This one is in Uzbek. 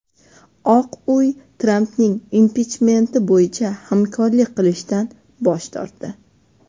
Oq uy Trampning impichmenti bo‘yicha hamkorlik qilishdan bosh tortdi.